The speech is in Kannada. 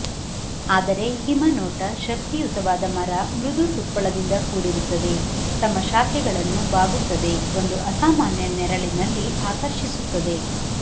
ಆದರೆ ಹಿಮ ನೋಟ ಶಕ್ತಿಯುತವಾದ ಮರ ಮೃದುತುಪ್ಪಳದಿಂದ ಕೂಡಿರುತ್ತದೆ ತಮ್ಮ ಶಾಖೆಗಳನ್ನು ಬಾಗುತ್ತದೆ ಒಂದು ಅಸಾಮಾನ್ಯ ನೆರಳಿನಲ್ಲಿ ಆಕರ್ಷಿಸುತ್ತದೆ